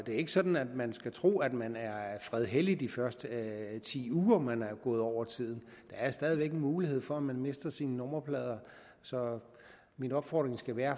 er ikke sådan at man skal tro at man er fredhellig de første ti uger man er gået over tiden der er stadig væk mulighed for at man mister sine nummerplader så min opfordring skal være